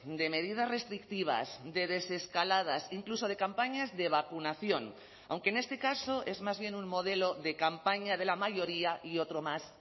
de medidas restrictivas de desescaladas incluso de campañas de vacunación aunque en este caso es más bien un modelo de campaña de la mayoría y otro más